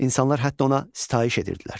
İnsanlar hətta ona sitayiş edirdilər.